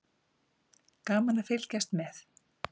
Gaman að fylgjast með.